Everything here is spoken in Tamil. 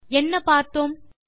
என்ன பார்த்தோம்160